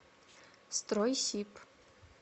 стройсиб